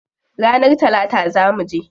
Ranar talata zaa muje.